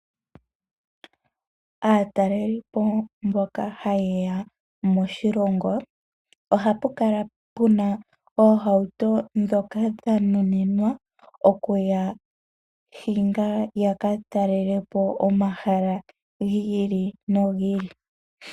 Aataleli po mboka haye ya moshilongo ohapu kala puna oohauto ndhoka dha nuninwa oku ya hinga, ya ka talele po omahala gi ili nogi ili.